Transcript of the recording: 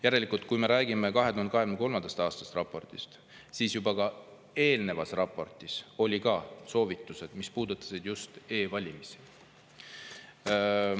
Järelikult, kui me räägime 2023. aasta raportist, siis juba ka eelnevas raportis olid soovitused, mis puudutasid just e-valimisi.